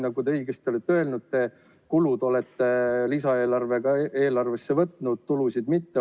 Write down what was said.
Nagu te õigesti olete öelnud, kulud olete lisaeelarvesse võtnud, aga tulusid mitte.